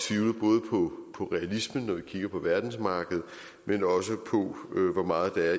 tvivle både på realismen når vi kigger på verdensmarkedet men også på hvor meget der er